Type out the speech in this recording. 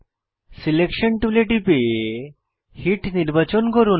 selection টুলে টিপে hit নির্বাচন করুন